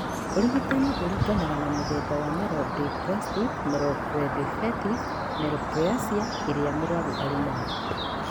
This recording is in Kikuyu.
Ũrigitani ũringanaga na mũthemba wa myelodysplastic /myeloproliferative neoplasms ĩria mũrũaru arĩ nayo.